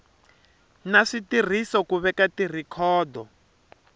na switirhiso ku veka tirhikhodo